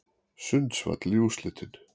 Sundsvall í úrslitin